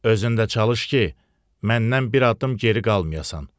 Özün də çalış ki, məndən bir addım geri qalmayasan.